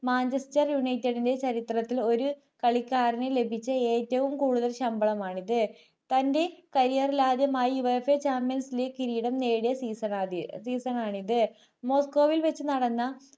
manchester united ന്റെ ചരിത്രത്തിൽ ഒരു കളിക്കാരന് ലഭിച്ച ഏറ്റവും കൂടുതൽ ശമ്പളം ആണിത് തന്റെ career ൽ ആദ്യമായി USAchampions league കിരീടം നേടിയ season ആണിത് മോസ്കോവിൽ വയ്ച്ചു നടന്ന